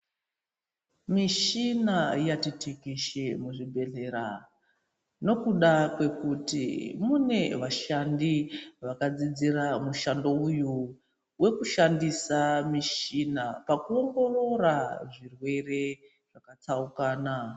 Mishina yati tekeshe muzvibhedhlera nokuda kwekuti mune vashandi vakadzidzira mushando uyu wekushandisa mushina pakuongorora zvirwere zvakatsaukana.